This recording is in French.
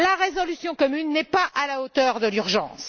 La résolution commune n'est pas à la hauteur de l'urgence.